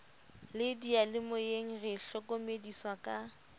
le diyalemoyeng re hlokomediswa ka